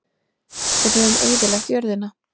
Við höfum eyðilagt jörðina.